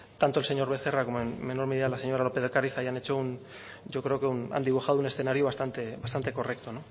tanto el señor becerra como en menor medida la señora lópez de ocáriz hayan dibujado un escenario bastante correcto